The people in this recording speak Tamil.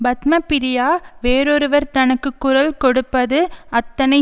பத்மப்ரியா வேறொருவர் தனக்கு குரல் கொடுப்பது அத்தனை